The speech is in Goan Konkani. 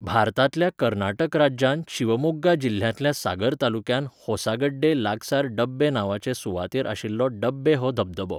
भारतांतल्या कर्नाटक राज्यांत शिवमोग्गा जिल्ह्यांतल्या सागर तालुक्यांत होसागड्डे लागसार डब्बे नांवाचे सुवातेर आशिल्लो डब्बे हो धबधबो.